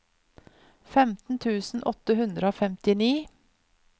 femten tusen åtte hundre og femtini